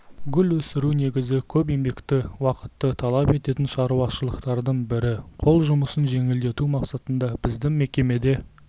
гүл өсіру негізі көп еңбекті уақытты талап ететін шаруашылықтардың бірі қол жұмысын жеңілдету мақсатында біздің мекемеде